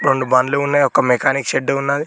రొండు బండ్లు ఉన్నాయ్ ఒక మెకానిక్ షెడ్డు ఉన్నాది.